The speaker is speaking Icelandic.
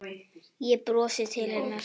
Ég brosi til hennar.